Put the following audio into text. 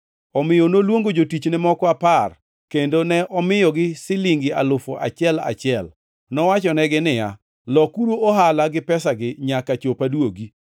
Omiyo noluongo jotichne moko apar kendo ne omiyogi silingʼ alufu achiel, achiel. Nowachonegi ni, ‘Lokuru ohala gi pesagi, nyaka chop aduogi.’